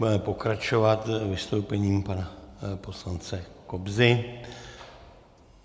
Budeme pokračovat vystoupením pana poslance Kobzy.